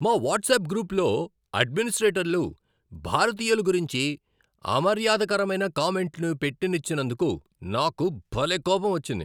మా వాట్సాప్ గ్రూప్లో అడ్మినిస్ట్రేటర్లు భారతీయుల గురించి అమర్యాదకరమైన కామెంట్లు పెట్టనిచ్చినందుకు నాకు భలే కోపమొచ్చింది.